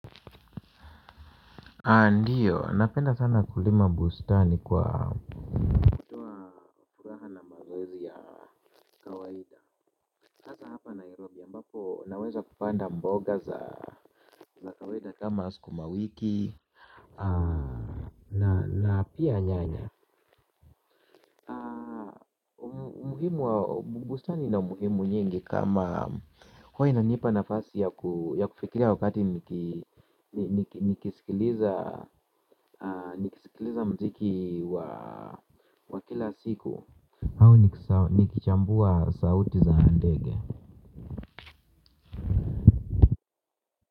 Ndiyo, napenda sana kulima bustani kwa furaha na mazoezi ya kawaida hasa hapa nairobi. Naweza kupanda mboga za kama askuma wiki. Na pia nyanya. Bustani ina umuhimu nyingi kama hua na nipa na fasi ya kufikiria wakati nikisikiliza mziki wa kila siku. Au nikichambua sauti za ndege.